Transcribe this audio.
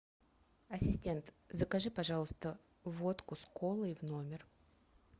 ассистент закажи пожалуйста водку с колой в номер